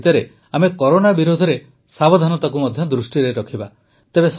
ଏହିସବୁ ଭିତରେ ଆମେ କରୋନା ବିରୋଧରେ ସାବଧାନତାକୁ ମଧ୍ୟ ଦୃଷ୍ଟିରେ ରଖିବା